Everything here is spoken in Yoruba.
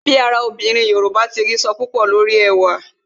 Bí ara obìnrin Yoruba sọ púpò lórí ẹwà